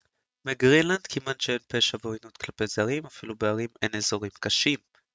בגרינלנד כמעט שאין פשע ועוינות כלפי זרים אפילו בערים אין אזורים קשים